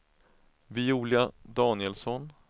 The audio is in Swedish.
Viola Danielsson